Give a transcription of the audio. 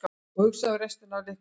Ég hugsaði um restina af leikjunum.